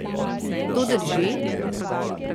To drži?